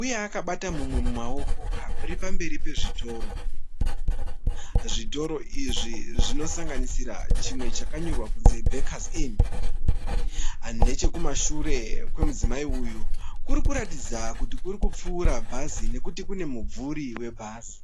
uye akabata mumwe mumaoko ari pamberi pezvitoro, zvitoro izvi zvinosanganisira chimwe chakanyorwa kuti bakers inn, nechokumashure kwemudzimai uyu kurikuratidza kuti kurikupfuura bhazi nekuti kune mumvuri webhazi.